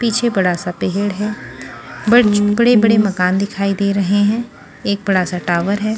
पीछे बड़ा सा पहड़ है ब बड़े-बड़े मकान दिखाई दे रहे हैं एक बड़ा सा टावर है।